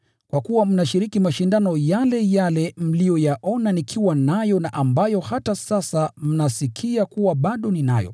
kwa kuwa mnashiriki mashindano yale yale mliyoyaona nikiwa nayo na ambayo hata sasa mnasikia kuwa bado ninayo.